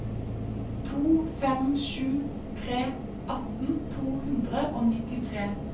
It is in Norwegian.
to fem sju tre atten to hundre og nittitre